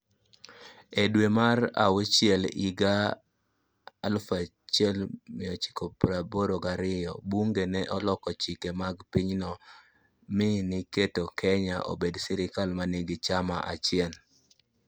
E dwe mar auchiel higa 1982, bunge ne oloko chike mag pinyno mi giketo Kenya obed sirkal ma nigi chama achiel.